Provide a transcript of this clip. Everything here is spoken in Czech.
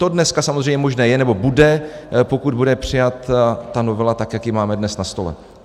To dneska samozřejmě možné je, nebo bude, pokud bude přijata ta novela tak, jak ji máme dnes na stole.